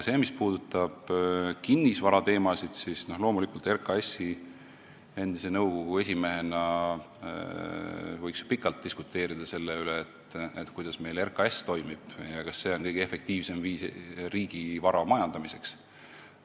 Mis puudutab kinnisvarateemasid, siis loomulikult võiks RKAS-i nõukogu endise esimehega pikalt diskuteerida selle üle, kuidas RKAS toimib ja kas see on kõige efektiivsem viis riigivara majandamiseks.